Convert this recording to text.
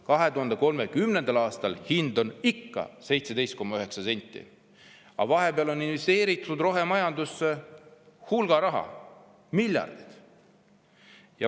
– 2030. aastal on hind ikka 17,9 senti, aga vahepeal on investeeritud rohemajandusse hulga raha, miljardid.